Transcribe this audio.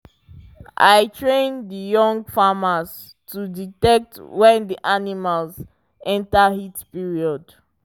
i train the young farmers to detect when the animals enter heat period